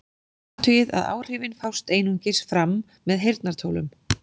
Athugið að áhrifin fást einungis fram með heyrnartólum.